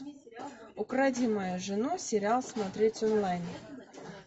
укради мою жену сериал смотреть онлайн